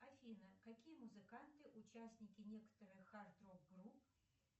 афина какие музыканты участники некоторых хард рок групп